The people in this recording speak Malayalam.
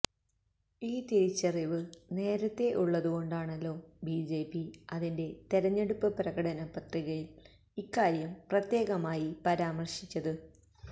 ഈ തിരിച്ചറിവ് നേരത്തെ ഉള്ളതുകൊണ്ടാണല്ലോ ബിജെപി അതിന്റെ തെരഞ്ഞെടുപ്പ് പ്രകടനപത്രികയില് ഇക്കാര്യം പ്രത്യേകമായി പരാമര്ശിച്ചത്